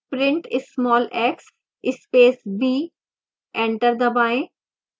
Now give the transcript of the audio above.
print small x space b enter दबाएं